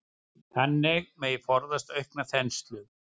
Þannig megi forðast aukna þenslu.